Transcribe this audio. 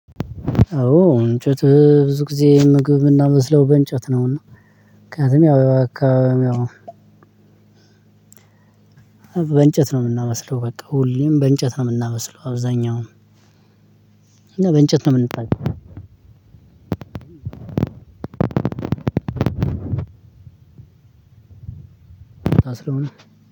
አዎ እንጨት ብዙ ጊዜ ምግብ እምናበስለው በእንጨት ነውና ምክንያቱም ያው ያው አካባቢውም ያው በእንጨት ነው እምናበስለው በቃ ሁሌም በእንጨት ነው የምናበስለው። አብዛኛውን እና በእንጨት ነው የምንጠቀመው። ታስረው